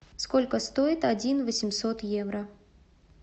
сколько стоит один восемьсот евро